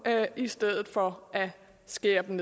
i stedet for at skære dem